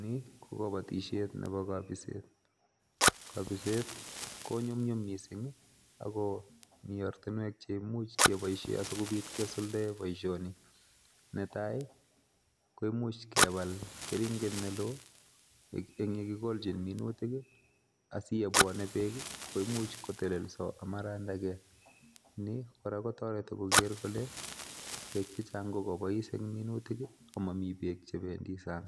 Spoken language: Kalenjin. Ni kobotishiet nebo kobiset, kobiset ko nyumnyum missing I,ako mi ortinwek cheimuch keboishien asikobiit kisuldaen boishonii, netai koimuch kebal keringet neloo eng yekikolchin minuutik, asibwone beek koimuch kotelesoo amarandakee nikora kotoretii kole beek chechang, komuch kobois en minutik komomi beek chebendi sang,